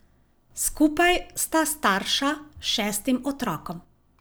Skupaj sta starša šestim otrokom.